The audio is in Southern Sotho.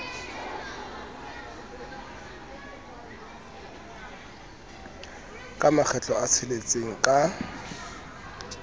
ka makgetlo a tsheletseng ka